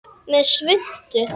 Með svuntu.